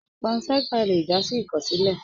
Pànságá lè já sí ìkọsilẹ.